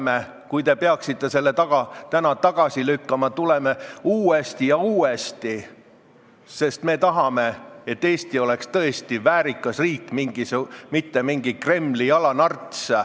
Ja kui te peaksite selle eelnõu täna tagasi lükkama, siis me tuleme sellega välja uuesti ja uuesti, sest me tahame, et Eesti oleks tõesti väärikas riik, mitte mingi Kremli jalanarts.